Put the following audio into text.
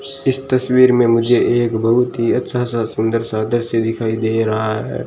इस तस्वीर में मुझे एक बहुत ही अच्छा सा सुंदर सा दृश्य दिखाई दे रहा है।